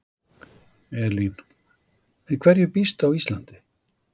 Elín: Við hverju býstu á Íslandi?